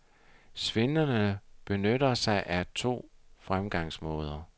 Svindlerne benytter sig af to fremgangsmåder.